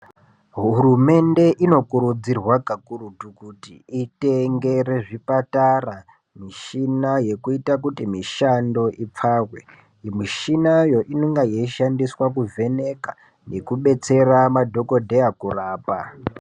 Hurumende inokurudzirwa kakurutu kuti itengere zvipatara, mishina yekuita kuti mishando ipfahwe. Mishina iyo inonga yeyishandiswa kuvheneka nekudetsera madhokodheya kurapa.